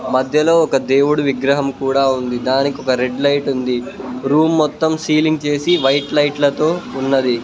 మధ్యలో ఒక దేవుడు విగ్రహం కూడా ఉంది దానికి ఒక రెడ్ లైట్ ఉంది రూమ్ మొత్తం సీలింగ్ చేసి వైట్ లైట్ల తో ఉన్నది.